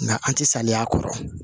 Nka an tɛ salen y'a kɔrɔ